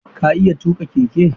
Ka iya tuƙa keke?